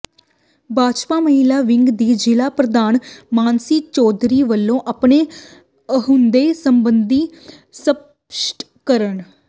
ਭਾਜਪਾ ਮਹਿਲਾ ਵਿੰਗ ਦੀ ਜ਼ਿਲ੍ਹਾ ਪ੍ਰਧਾਨ ਮਾਨਸੀ ਚੌਧਰੀ ਵੱਲੋਂ ਆਪਣੇ ਅਹੁਦੇ ਸਬੰਧੀ ਸਪੱਸ਼ਟਕਰਨ